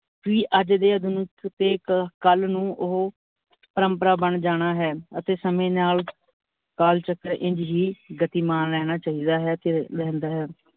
ਅੱਜ ਦੇ ਆਧੁਨਿਕ ਤੇ ਕੱਲ ਨੂੰ ਓਹੋ, ਪਰਮਪਰਾ ਬਣ ਜਾਣਾ ਹੈ, ਅਤੇ ਸਮੇ ਨਾਲ ਕਾਲਚਕਰ ਇੰਝ ਹੀ ਗਤੀਮਾਨ ਰਹਿਣਾ ਚਾਹੀਦਾ ਹੈ ਤੇ ਰਹਿੰਦਾ ਹੈ।